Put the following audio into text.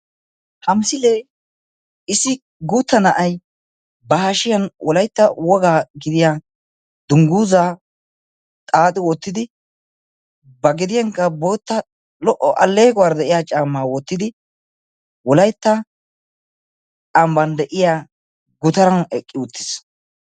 Ha misilee issi guutta na'ayi wolaytta wogaa gidiya dungguzaa xaaxi wottidi ba gediyankka bootta lo'o alleequwara de'iya caammaa wottidi wolaytta ambban de'iya gutaran eqqi uttis.